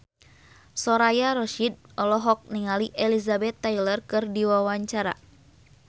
Soraya Rasyid olohok ningali Elizabeth Taylor keur diwawancara